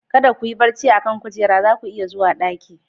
Kada ku yi barci a kan kujera, za ku iya zuwa ɗaki.